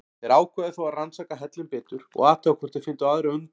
Þeir ákváðu þó að rannsaka hellinn betur og athuga hvort þeir fyndu aðra undankomuleið.